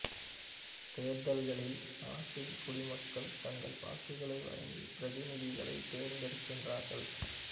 தேர்தல்களில் நாட்டின் குடிமக்கள் தங்கள் வாக்குகளை வழங்கிப் பிரதிநிதிகளைத் தேர்ந்தெடுக்கிறார்கள்